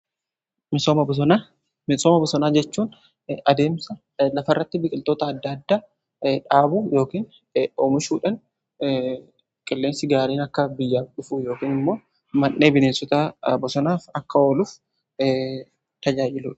misooma bosonaa jechuun adeemsa lafa irratti biqiltoota adda addaa dhaabu yookiin omishuudhan qilleensi gaariin akka biyyaaf dhufu yookin immoo man'ee bineensota bosonaaf akka ooluf kan tajaajiludha.